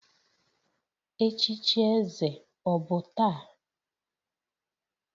Echichi eze ọ bụ taa?